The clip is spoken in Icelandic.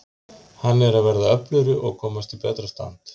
Hann er að verða öflugri og komast í betra stand.